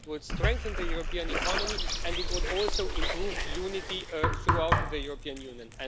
It would strengthen the European economy, and it would also improve unity throughout the European Union.